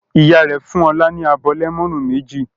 Ìyá rẹ̀ fún Ọlá ní abọ́ lẹ́mọ́nù méjì.